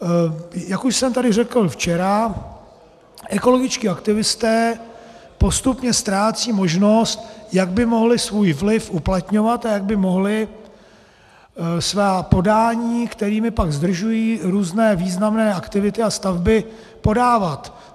Jak už jsem tady řekl včera, ekologičtí aktivisté postupně ztrácejí možnost, jak by mohli svůj vliv uplatňovat a jak by mohli svá podání, kterými pak zdržují různé významné aktivity a stavby, podávat.